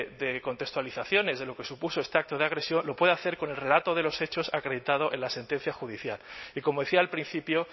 de contextualizaciones de lo que supuso este acto de agresión lo puede hacer con el relato de los hechos acreditado en la sentencia judicial y como decía al principio